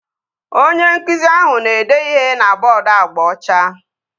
Onye nkụzi ahụ na-ede ihe na bọọdu agba ọcha